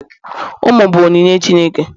ụmụ bụ onyinye Chineke